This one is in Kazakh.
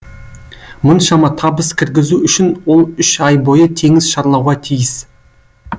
мұншама табыс кіргізу үшін ол үш ай бойы теңіз шарлауға тиіс